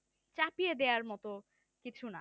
চাপিয়ে দেওয়ার মতো কিছু না